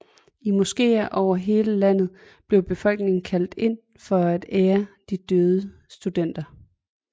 I moskéer over hele landet blev befolkningen kaldt ind for at ære de døde studenter